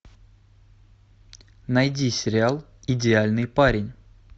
найди сериал идеальный парень